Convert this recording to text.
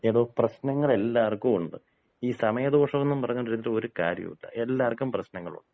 എടോ, പ്രശ്നങ്ങളെല്ലാർക്കും ഉണ്ട്. ഈ സമയദോഷം എന്നും പറഞ്ഞ് ഇരുന്നിട്ട് ഒരു കാര്യോല്ല. എല്ലാർക്കും പ്രശ്നങ്ങളുണ്ട്.